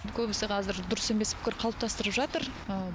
көбісі қазір дұрыс емес пікір қалыптастырып жатыр